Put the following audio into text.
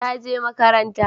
ta je makaranta